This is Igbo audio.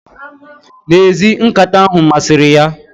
N' ezie, nkata ahu masiri ya